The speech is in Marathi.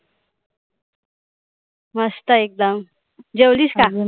मस्त एकदम. जेवलीस का?